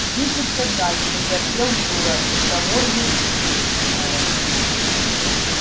двигаться дальше запел юра из того же гребенщикова